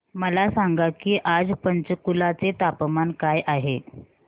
मला सांगा की आज पंचकुला चे तापमान काय आहे